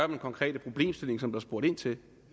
den konkrete problemstilling som der er spurgt ind til